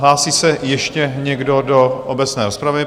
Hlásí se ještě někdo do obecné rozpravy?